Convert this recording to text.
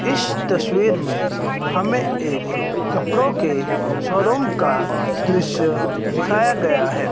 इस तसवीर में हम एक कपड़ो के शोरूम का दृश्य दिखाया गया है।